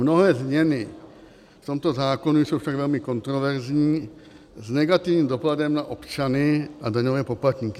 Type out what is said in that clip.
Mnohé změny v tomto zákoně jsou však velmi kontroverzní, s negativním dopadem na občany a daňové poplatníky.